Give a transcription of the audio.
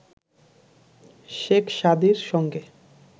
শেখ সাদির সঙ্গে